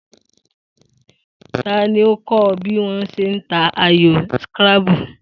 Ta ni ó kó̩ o̩ bí wó̩ s̩e ń ta ayò scrabble?